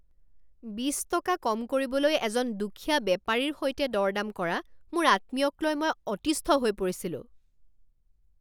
বিছ টকা কম কৰিবলৈ এজন দুখীয়া বেপাৰীৰ সৈতে দৰ দাম কৰা মোৰ আত্মীয়কলৈ মই অতিষ্ঠ হৈ পৰিছিলোঁ।